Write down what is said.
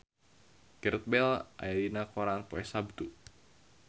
Gareth Bale aya dina koran poe Saptu